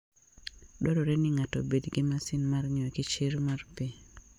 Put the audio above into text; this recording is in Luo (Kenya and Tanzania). Dwarore ni ng'ato obed gi masin mar ng'iyo kichr mar pi.